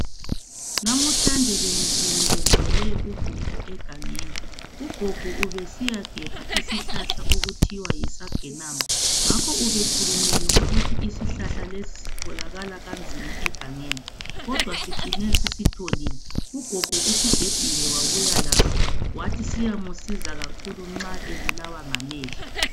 Namhlanje bengiphelekezele ugogo egangeni. Ugogo ubesiyagebha isihlahla okuthiwa yisagenama ngakho ubekhulumile ukuthi isihlahla lesi sitholakala kanzima egangeni kodwa sicine sisitholile ugogo usigebhile wabuya laso wathi siyamsiza kakhulu nxa ebulawa ngamehlo.